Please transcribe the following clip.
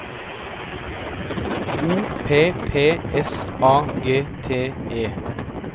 O P P S A G T E